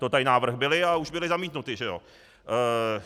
To tady návrhy byly, ale už byly zamítnuty, že jo.